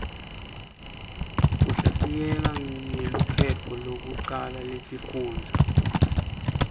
kuhlatiyeka ngelukhetto lekucala letifundvo